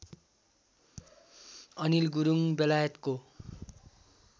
अनिल गुरुङ बेलायतको